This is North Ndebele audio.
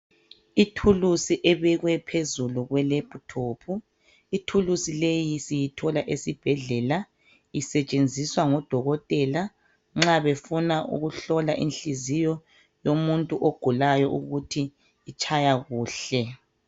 Ithuluzi ebekwe phezu kwelaphithophu ithuluzi leyi siyithola esibhedlela isetshenziswa ngodokotela nxa befuna ukuhlola inhliziyo yomuntu ogulayo ukuthi itshaya kuhle.